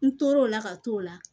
N tor'o la ka t'o la